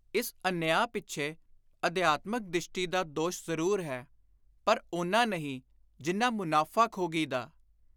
ਇਸ ਅਨਿਆਂ ਪਿੱਛੇ ਅਧਿਆਤਮਕ ਦਿਸ਼ਟੀ ਦਾ ਦੋਸ਼ ਜ਼ਰੂਰ ਹੈ, ਪਰ ਓਨਾ ਨਹੀਂ ਜਿੰਨਾ ਮੁਨਾਫ਼ਾਖ਼ੋਗੀ ਦਾ।